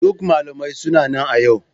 Duk malamai suna nan a yau.